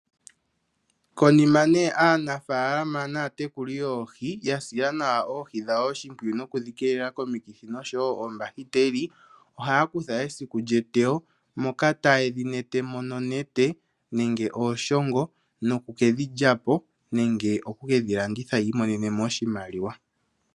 Konima nee aanafaalama naatekuli yooho yasila nawa oohi dhawo oshipwiyu noku dhi keelela komikithi oshowo koombahiteli ohaya kutha esiku lyeteyo moka tayedhi netemo nonete nenge ooshongo noku kedhi lyapo nenge oku kedhi landitha yi imonenemo oshimaliwa.